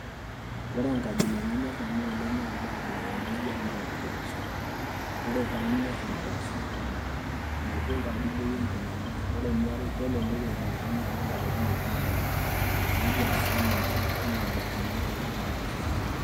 Ore enkabila nayorr nanu oleng' naa enda abila naa ijio enompoosho, ore paanyorr impoosho one megol taadoi bei enkinying'unoto ore eniare kelelek eunoto enye amu ilapaitin okuni ake ninya neeku aisho ninche naabaikinoyu naa ninche genuine.